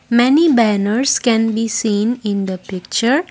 many banners can be seen in the picture.